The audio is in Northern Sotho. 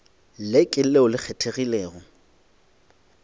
le ke leo le kgethegilego